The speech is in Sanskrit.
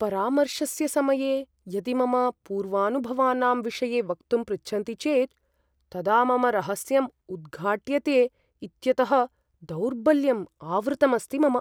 परामर्शस्य समये यदि मम पूर्वानुभवानाम् विषये वक्तुं पृच्छन्ति चेत् तदा मम रहस्यम् उद्घाट्यते इत्यतः दौर्बल्यम् आवृतमस्ति मम ।